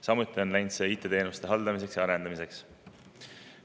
Samuti on läinud see IT-teenuste haldamiseks ja arendamiseks.